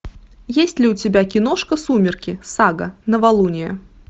есть ли у тебя киношка сумерки сага новолуние